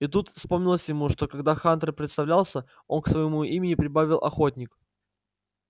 и тут вспомнилось ему что когда хантер представлялся он к своему имени прибавил охотник